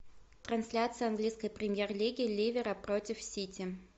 трансляция английской премьер лиги ливера против сити